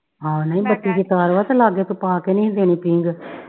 ਹਾ ਨਹੀਂ ਬੱਤੀ ਦੀ ਤਾਰ ਵਾ ਤੇ ਲਾਗੇ ਤੂੰ ਪਾ ਕੇ ਨਹੀਂ ਦੇਣੀ ਹੀ ਪੀਂਘ